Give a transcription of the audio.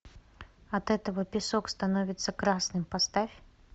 от этого песок становится красным поставь